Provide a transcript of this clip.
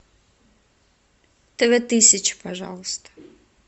тв тысяча пожалуйста